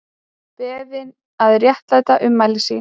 Beðin að réttlæta ummæli sín